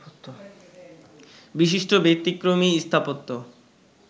বিশিষ্ট ব্যতিক্রমী স্থাপত্য